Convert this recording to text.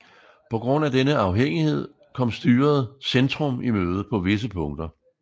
På grund af denne afhængighed kom styret Centrum i møde på visse punkter